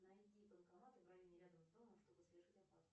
найди банкоматы в районе рядом с домом чтобы совершить оплату